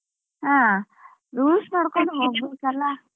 ಹಾ rules ನೋಡ್ಕೊಂಡು ಹೋಗ್ಬೇಕಲ್ಲ.